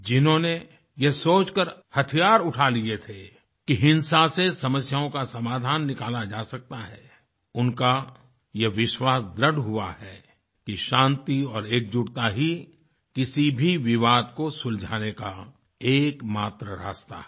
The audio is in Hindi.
जिन्होंने यह सोचकर हथियार उठा लिए थे कि हिंसा से समस्याओं का समाधान निकाला जा सकता है उनका यह विश्वास दृढ़ हुआ है कि शांति और एकजुटता ही किसी भी विवाद को सुलझाने का एकमात्र रास्ता है